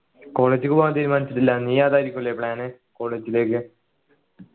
college ക്കു പോകാൻ തീരുമാനിച്ചിട്ടില്ല നീ അതായിരിക്കും അല്ലെ plan college ലേക്ക്